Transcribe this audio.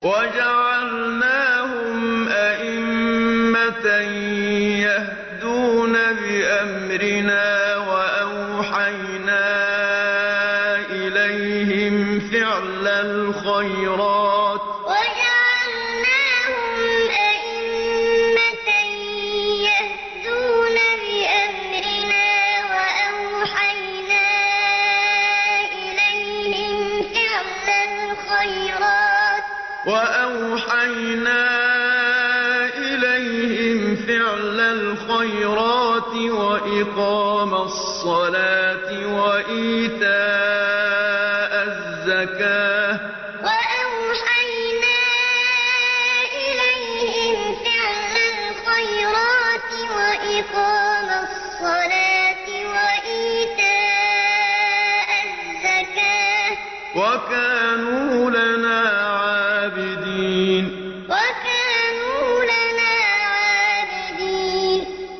وَجَعَلْنَاهُمْ أَئِمَّةً يَهْدُونَ بِأَمْرِنَا وَأَوْحَيْنَا إِلَيْهِمْ فِعْلَ الْخَيْرَاتِ وَإِقَامَ الصَّلَاةِ وَإِيتَاءَ الزَّكَاةِ ۖ وَكَانُوا لَنَا عَابِدِينَ وَجَعَلْنَاهُمْ أَئِمَّةً يَهْدُونَ بِأَمْرِنَا وَأَوْحَيْنَا إِلَيْهِمْ فِعْلَ الْخَيْرَاتِ وَإِقَامَ الصَّلَاةِ وَإِيتَاءَ الزَّكَاةِ ۖ وَكَانُوا لَنَا عَابِدِينَ